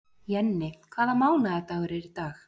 Jenni, hvaða mánaðardagur er í dag?